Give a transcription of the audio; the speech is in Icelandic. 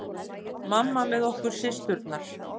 Mamma með okkur systurnar.